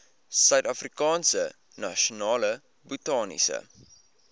suidafrikaanse nasionale botaniese